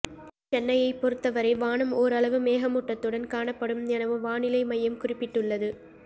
சென்னையை பொறுத்தவரை வானம் ஓரளவு மேகமூட்டத்துடன் காணப்படும் எனவும் வானிலை மையம் குறிப்பிட்டுள்ளது